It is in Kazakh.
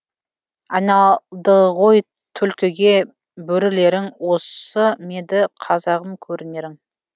айналдығой тулкіге бөрілерің осы меді қазағым көрінерің